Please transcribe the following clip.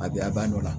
A bɛ a ba nɔ la